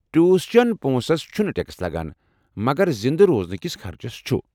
Tuition پونسس چُھنہٕ tax لگان ، مگر زِندٕ روزنہِ كِس خرچس چُھ ۔